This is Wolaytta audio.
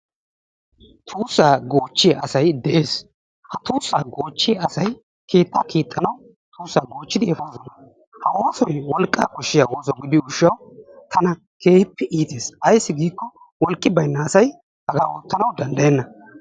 Tussaa gochiyaa asaay de'es, ha tussa gochiyaa asay kettaa kexanawu tussa gochiddi efossonnaa, ha ossoy wolqa koshiyaa osso gidiyo gishawu tana kehippe ittes, aysi gikko woliqqi bayna asay ottanawu dandayeenna.